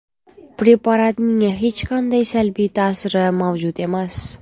Preparatning hech qanday salbiy ta’siri mavjud emas.